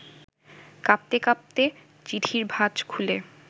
কাঁপতে কাঁপতে চিঠির ভাজ খুলে